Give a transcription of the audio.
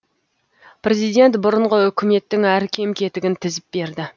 президент бұрынғы үкіметтің әр кем кетігін тізіп берді